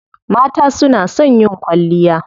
Mata su na son yin kwalliya.